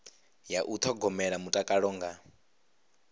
ya u thogomela mutakalo nga